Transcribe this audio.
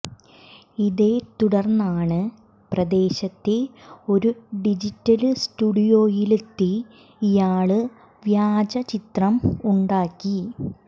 ഇതേത്തുടര്ന്നാണ് പ്രദേശത്തെ ഒരു ഡിജിറ്റല് സ്റ്റുഡിയോയിലെത്തി ഇയാള് വ്യാജ ചിത്രം ഉണ്ടാക്കി